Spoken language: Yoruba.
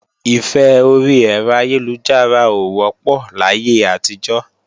Ìfẹ́ orí ẹ̀rọ ayélujára ò wọ́pọ̀ láyé àtijọ́